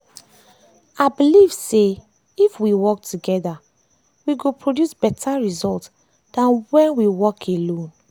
i believe say i believe say if we work toggther we go produce better result than when we work alone.